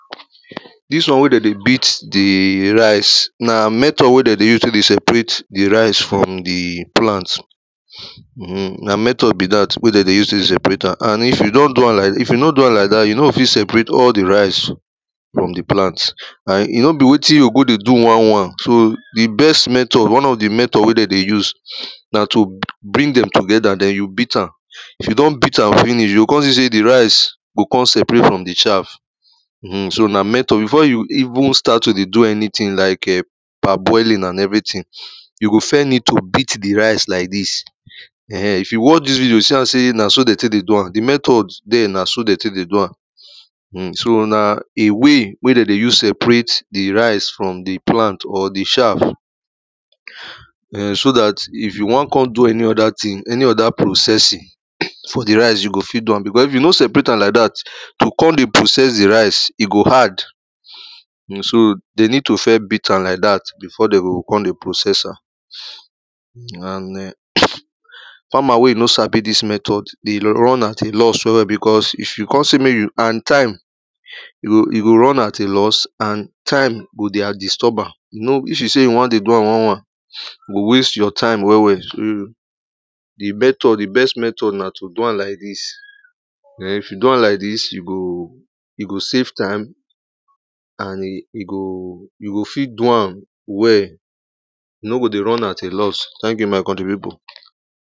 Dis one wey de dey beat the rice, na method wey de dey use tey dey separate the rice from the plant hm hmm, na method be dat wey de dey use tey dey separate am. And if you don do am like, if you no do am like dat, you no fit separate all the rice from the plant, and e no be wetin you go dey do one, one. So, the best method, one of the method wey de dey use, na to bring dem together den you beat am, if you don beat am finish you con see sey the rice go con separate from the shaft, hm hmm, so na method, before you even start to dey do anything like, err parboiling and everything, you go first need to beat the rice like dis, err ehn, If you watch dis video yoh see am sey na so de tey dey do am, the method dere na so de tey dey do am. Hmm, so na a way, wey de dey use separate the rice from the plant or the shaft, err so dat if you wan con do any other thing, any other processing for the rice, you go fit do am, because if you no separate am like dat, to con dey process the rice go hard. Hmm so, de need to first beat am like dat before, de go con dey process am, and err farmer wey no sabi dis method dey run at a loss well well because, if you con sey mek you and time, you, you go run at a loss and time go dey at disturber, you know, if you dey you wan dey do am one, one, e go waste your time well well. So, the method, the best method na to do am like dis, err[um]if you do am like dis, you go, you go save time and you go, you go fit do am well, you no go dey run at a loss. Thank you my country pipo.